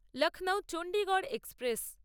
Lucknow Chandigarh express